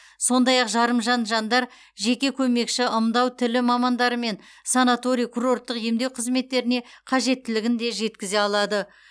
сондай ақ жарымжан жандар жеке көмекші ымдау тілі мамандары және санаторий курорттық емдеу қызметтеріне қажеттілігін де жеткізе алады